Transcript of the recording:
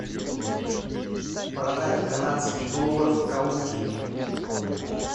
продать канадский доллар в калуге